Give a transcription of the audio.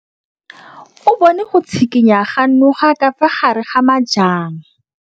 O bone go tshikinya ga noga ka fa gare ga majang.